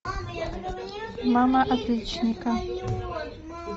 мама отличника